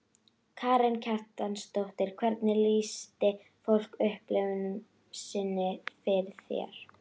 Karen Kjartansdóttir: Hvernig lýsti fólk upplifun sinni fyrir þér?